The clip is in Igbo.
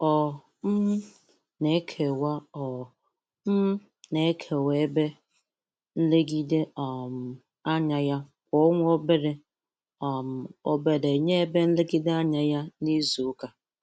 Ọ um na-ekewwa Ọ um na-ekewwa ebe nlegide um anya ya kwa ọnwa obere um obere nye ebe nlegide anya ya n'izu ụka.